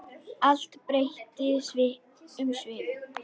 Allt breytti um svip.